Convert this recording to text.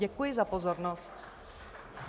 Děkuji za pozornost.